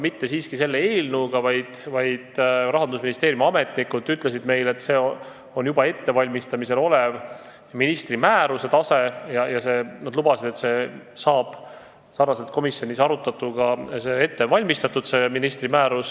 Mitte siiski selle eelnõuga, vaid Rahandusministeeriumi ametnikud ütlesid meile, et ministri määrus on juba ettevalmistamisel, ja lubasid, et paralleelselt komisjonis arutatuga saab see valmis.